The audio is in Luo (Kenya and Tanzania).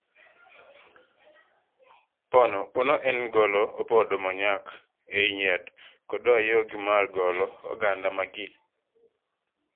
Pono: Pono en golo opodo monyak e yiende kod yaogi mar golo oganda mangih.